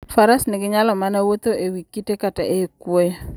Faras nyalo mana wuotho e wi kite kata e kwoyo.